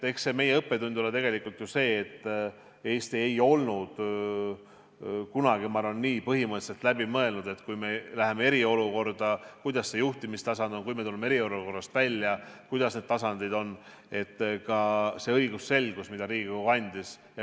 Eks õppetund ole tegelikult ju see, et Eesti ei olnud kunagi, ma arvan, nii põhimõtteliselt läbi mõelnud, et kui me läheme eriolukorda, milline see juhtimistasand on, ja kui me tuleme eriolukorrast välja, millised need tasandid on.